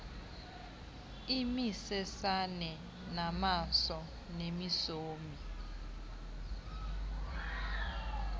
imisesane namaso nemisomi